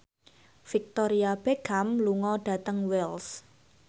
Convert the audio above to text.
Victoria Beckham lunga dhateng Wells